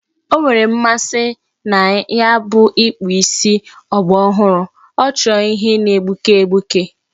O nwere mmasị na ya bụ ịkpụ isi ọgbarọhụrụ, ọ chọrọ ihe na-egbuke egbuke